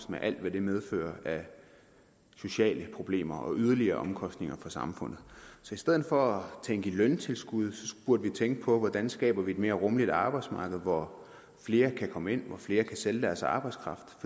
med alt hvad det medfører af sociale problemer og yderligere omkostninger for samfundet så i stedet for at tænke i løntilskud burde vi tænke på hvordan vi skaber et mere rummeligt arbejdsmarked hvor flere kan komme ind og hvor flere kan sælge deres arbejdskraft